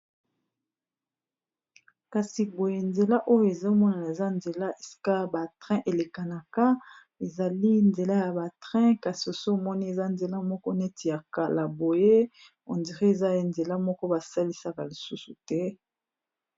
kasi boye nzela oyo ezomonana eza nzela eska batrain elekanaka ezali nzela ya batrain kasi oso omoni eza nzela moko neti ya kala boye ondrie ezali nzela moko basalisaka lisusu te